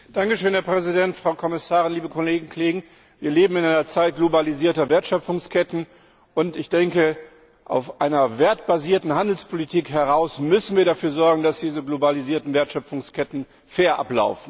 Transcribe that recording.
Herr Präsident, Frau Kommissarin, liebe Kolleginnen und Kollegen! Wir leben in einer Zeit globalisierter Wertschöpfungsketten, und ich denke, aus einer wertbasierten Handelspolitik heraus müssen wir dafür sorgen, dass diese globalisierten Wertschöpfungsketten fair ablaufen.